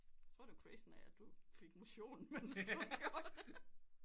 Jeg tror det var crazy af at du fik motion imens du gjorde det